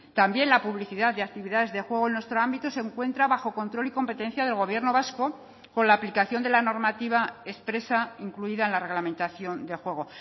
también la publicidad de actividades de juego en nuestro ámbito se encuentra bajo control y competencia del gobierno vasco con la aplicación de la normativa expresa incluida en la reglamentación de juego